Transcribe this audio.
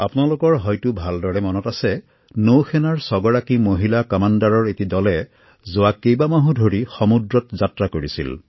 আপোনালোকৰ হয়তো ভালদৰে মনত আছে যে নৌসেনাৰ ৬গৰাকী মহিলা কামাণ্ডাৰৰ এটি দলে যোৱা কেইমাহমান ধৰি সমুদ্ৰত যাত্ৰা কৰিছিল